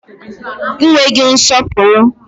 Ị nweghị nsọpụrụ!